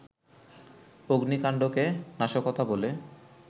অগ্নিকাণ্ডকে নাশকতা বলে